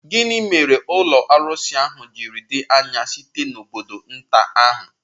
Gịnị mere ụlọ arụsị ahụ ji dị anya site n'obodo nta ahụ?